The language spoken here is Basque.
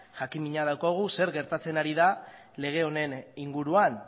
jakinmina daukagu zer gertatzen ari den lege honen inguruan